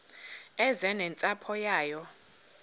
eze nentsapho yayo